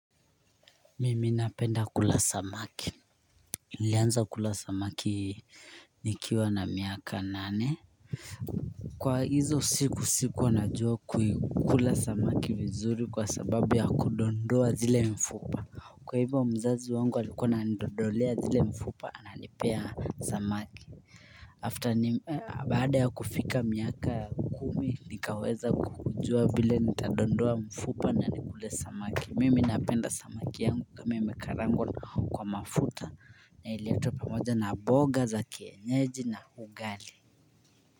Mimi napenda kula samaki nilianza kula samaki nikiwa na miaka nane Kwa hizo siku sikuwa najua kula samaki vizuri kwasababu ya kuondoa ile mifupa Kwahivyo mzazi wangu alikuwa ananiondolea ile mifupa ananipea samaki After baada ya kufika miaka kumi nikaweza kujua vile nitaondoa mifupa na nikule samaki mimi napenda samaki yangu kama kaangwa na mafuta na iletwe pamoja na mboga za kienyeji na ugali.